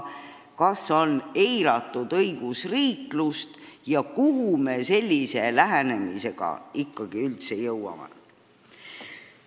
Kas on eiratud õigusriiklust ja kuhu me sellise lähenemisega üldse jõuame?